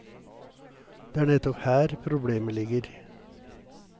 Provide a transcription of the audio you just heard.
Det er nettopp her problemet ligger.